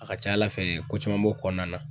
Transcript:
A ka ca ala fɛ ko caman b'o kɔnɔna na.